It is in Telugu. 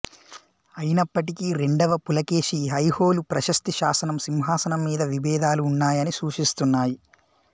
అయినప్పటికీ రెండవ పులకేశి ఐహోలు ప్రశస్తి శాసనం సింహాసనం మీద విభేదాలు ఉన్నాయని సూచిస్తున్నాయి